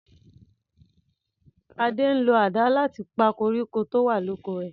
Ade ń lo àdá láti pa koríko tó wà l'oko rè.